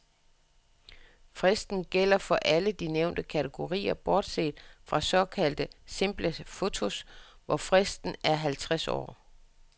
Fristen gælder for alle de nævnte kategorier, bortset fra såkaldte simple fotos, hvor fristen er halvtreds år.